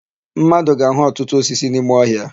Mmadụ ga-áhụ̀ ọtụtụ osisi n'ime ọhịa.